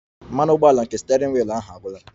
Mmanụ ụgbọala nke steering wheel ahụ agwụla